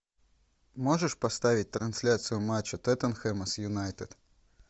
можешь поставить трансляцию матча тоттенхэма с юнайтед